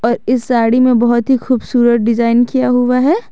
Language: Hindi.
इस साड़ी में बहोत ही खूब सुरत डिजाइन किया हुआ है।